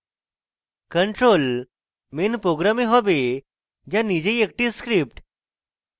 control main program হবে the নিজেই একটি script